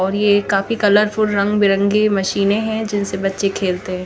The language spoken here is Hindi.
और ये काफी कलर फुल रंग बी रंगी मशीने है जिनसे बच्चे खेलते है।